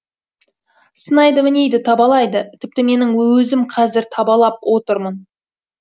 сынайды мінейді табалайды тіпті менің өзім қазір табалап отырмын